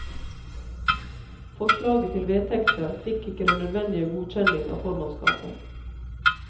Forslaget til vedtekter fikk ikke den nødvendige godkjenning av formannskapet.